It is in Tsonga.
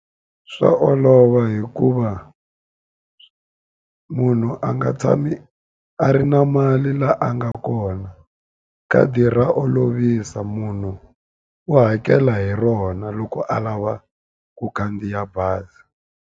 Swa olova hikuva munhu a nga tshami a ri na mali la a nga kona khadi ra olovisa munhu u hakela hi rona loko a lava ku khandziya bazi.